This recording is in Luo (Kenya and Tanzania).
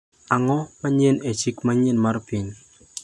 Ang’o manyien e chik manyien mar piny?